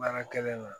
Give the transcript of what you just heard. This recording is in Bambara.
Baara kɛlen na